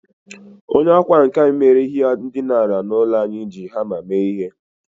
Onye ọkwá nkà nke mere ihe ndina n'ụlọ anyị, ji hama mee ihe.